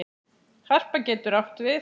Harpa getur átt við